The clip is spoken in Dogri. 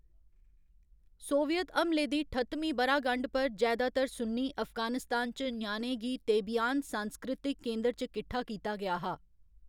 सोवियत हमले दी ठत्तमीं ब'रा गंढ पर जैदातर सुन्नी अफगानिस्तान च ञ्याणें गी तेबियान सांस्कृतिक केंद्र च किट्ठा कीता गेआ हा।